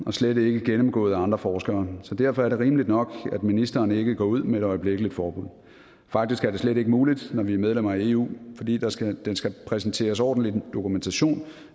og slet ikke gennemgået af andre forskere så derfor er det rimeligt nok at ministeren ikke går ud med et øjeblikkeligt forbud faktisk er det slet ikke muligt når vi er medlem af eu fordi der skal præsenteres ordentlig dokumentation